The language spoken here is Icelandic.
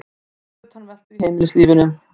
Svo utanveltu í heimilislífinu.